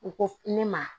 U ko ne ma